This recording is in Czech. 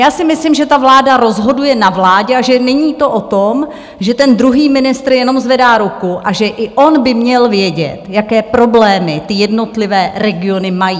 Já si myslím, že ta vláda rozhoduje na vládě a že není to o tom, že ten druhý ministr jenom zvedá ruku, a že i on by měl vědět, jaké problémy ty jednotlivé regiony mají.